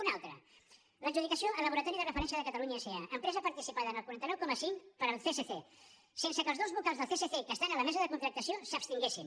un altre l’adjudicació al laboratori de referència de catalunya sa empresa participada en el quaranta nou coma cinc pel csc sense que els dos vocals del csc que estan a la mesa de contractació s’abstinguessin